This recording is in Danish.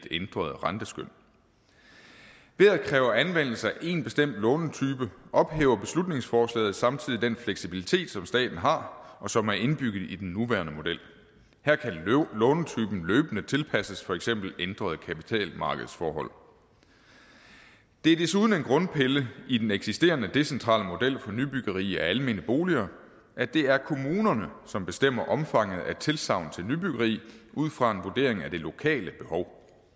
ændret renteskøn ved at kræve anvendelse af en bestemt lånetype ophæver beslutningsforslaget samtidig den fleksibilitet som staten har og som er indbygget i den nuværende model her kan lånetypen løbende tilpasses for eksempel ændrede kapitalmarkedsforhold det er desuden en grundpille i den eksisterende decentrale model for nybyggeri af almene boliger at det er kommunerne som bestemmer omfanget af tilsagn om nybyggeri ud fra en vurdering af det lokale behov